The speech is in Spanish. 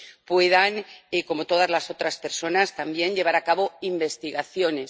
puedan, como todas las otras personas también, llevar a cabo investigaciones.